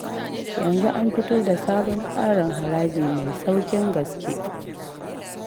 Yanzu an fito da sabon tsarin haraji mai sauƙin gaske